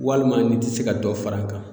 Walima n'i tɛ se ka dɔ fara a kan